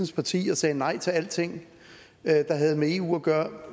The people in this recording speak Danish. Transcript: sit parti og sagde nej til alting der havde med eu at gøre